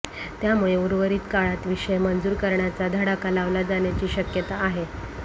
त्यामुळे उर्वरित काळात विषय मंजुर करण्याचा धडाका लावला जाण्याची शक्यता आहे